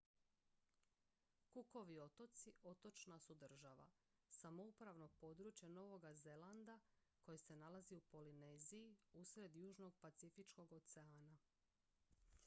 cookovi otoci otočna su država samoupravno područje novoga zelanda koje se nalazi u polineziji usred južnog pacifičkog oceana